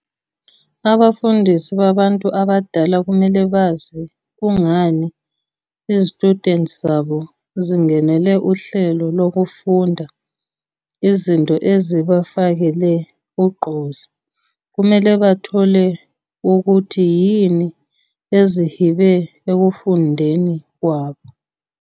Abafundisi babantu abadala kumele bazi kungani izitshudeni zabo zingenele uhlelo lokufunda, izinto ezibafakele ugqozi, kumele bathole ukuthi yini ezihibe ekufundeni kwabo.